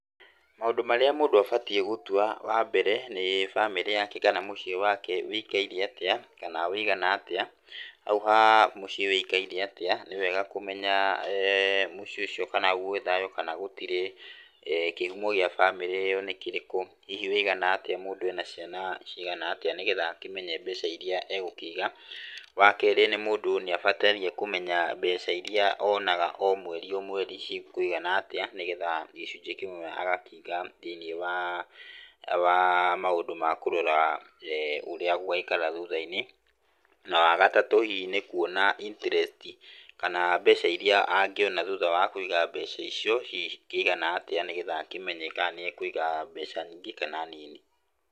Mũndũ marĩa mũndũ abatiĩ gũtua wa mbere nĩ bamĩrĩ yake kana mũciĩ wake wĩikaire atĩa, kana wĩigana atĩa. Hau ha mũciĩ wũikaire atĩa, nĩ wega kũmenya kana gwĩ thayu kana gũtirĩ, kĩhumo gĩa bamĩrĩ ĩyo gĩa bamĩrĩ ĩyo nĩ kĩrĩkũ, hihi wũigana atĩa mũndũ ena ciana cigana atĩa nĩ gethga akĩmenye mbeca iria egũkĩiga. Wa kerĩ, mũndũ nĩ abataire kũmenya mbeca iria onaga o mweri o mweri cikũigana atĩa, nĩ getha gĩcunjĩ kĩmwe agakĩiga thĩiniĩ wa maũndũ ma kũrora ũrĩa gũgaikara thutha-inĩ. Na wagatatũ, nĩ kũrora interest kana mbeca iria angĩona thutha wa kũiga mbeca icio hihi cikĩigana atĩa, nĩgetha akĩmenye kana nĩ ekũiga mbeca nyingĩ kana nini.